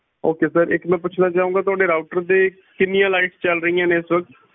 okay sir ਇੱਕ ਮੈਂ ਪੁੱਛਣਾ ਚਾਹੁੰਗਾ ਕੇ ਤੁਹਾਡੇ router ਤੇ ਕਿੰਨੀਆਂ ਲਾਈਟ ਚੱਲ ਰਹੀਆਂ ਨੇ ਇਸ ਵਕਤ